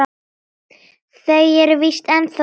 Þau eru víst ennþá saman.